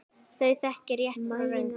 Þau þekkja rétt frá röngu.